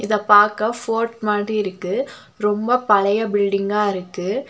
இத பாக்க ஃபோர்ட் மாதிரி இருக்கு ரொம்ப பழைய பில்டிங்கா இருக்கு.